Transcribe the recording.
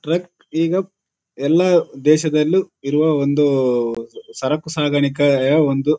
truck ಈಗ ಎಲ್ಲ ದೇಶದಲ್ಲೂ ಇರುವ ಒಂದು ಊಊಉ ಸರಕು ಸಾಗಾಣಿಕೆಯ ಒಂದು --